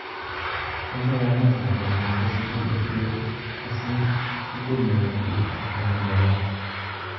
kaigai amut lakwenyun kwo sugul nekirwee kosir sugul newendii ak konyone gaa